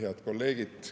Head kolleegid!